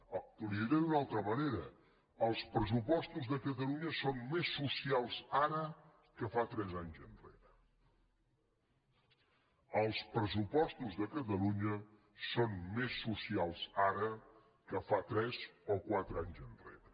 li ho diré d’una altra manera els pressupostos de catalunya són més socials ara que fa tres anys enrere els pressupostos de catalunya són més socials ara que fa tres o quatre anys enrere